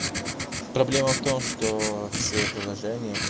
проблема в том что все приложения